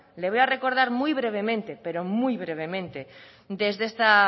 le voy a recordar muy brevemente pero muy brevemente desde esta